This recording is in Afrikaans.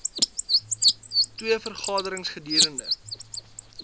twee vergaderings gedurende